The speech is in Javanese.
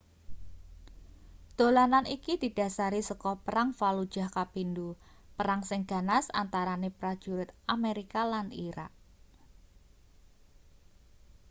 dolanan iki didhasari saka perang fallujah kapindo perang sing ganas antarane prajurit amerika lan irak